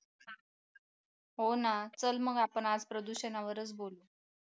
हो ना चल मग आपण आज प्रदूषणावरच बोलू